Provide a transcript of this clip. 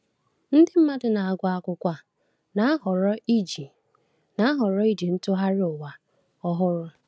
Nde mmadụ na-agụ akwụkwọ a na-ahọrọ iji na-ahọrọ iji Ntụgharị Ụwa Ọhụrụ.